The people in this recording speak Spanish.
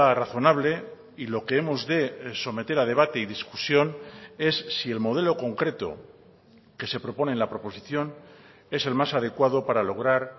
razonable y lo que hemos de someter a debate y discusión es si el modelo concreto que se propone en la proposición es el más adecuado para lograr